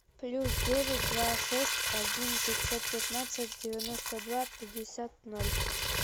плюс девять два шесть один пятьсот пятнадцать девяносто два пятьдесят ноль